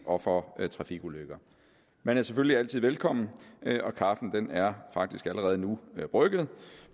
og for trafikulykker man er selvfølgelig altid velkommen og kaffen er faktisk allerede nu brygget